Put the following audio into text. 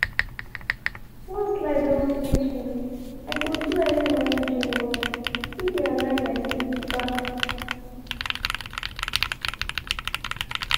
once life don switch me i go do early morning gym run e dey align my sleep back.